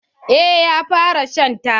Eh ya fara shan taba.